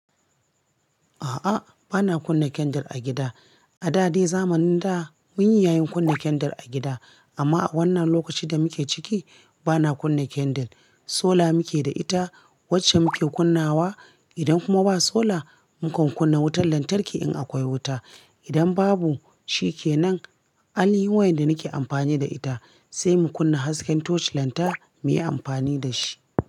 A'a, bana kunna candle a gida. A da dai zamanin da mun yi yayin kunna candle a gida amma a wannan lokacin da muke ciki bana kunna candle. Sola muke da ita wacce muke kunnawa. Idan kuma ba sola, mu kan kunna wutar lantarki in akwai wuta. Idan babu, shi ke nan, ainihin wayanda nake amfani da ita sai mu kunna hasken torch lantana muyi amfani da shi.